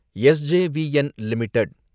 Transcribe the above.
S J V N limited